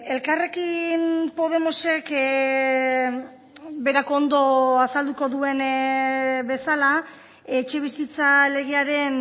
elkarrekin podemosek berak ondo azalduko duen bezala etxebizitza legearen